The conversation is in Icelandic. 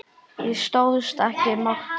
Ég stóðst ekki mátið.